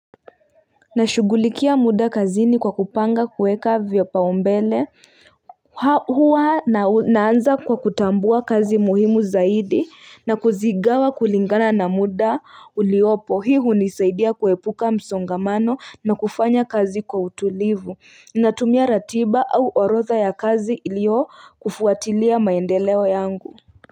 Nashughulikia muda kazini kwa kupanga kuweka vipaumbele huwa naanza kwa kutambua kazi muhimu zaidi na kuzigawa kulingana na muda uliopo hii hunisaidia kuepuka msongamano na kufanya kazi kwa utulivu natumia ratiba au orodha ya kazi ilio kufuatilia maendeleo yangu.